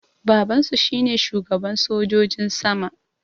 Babansu shine shugaban sojojin sama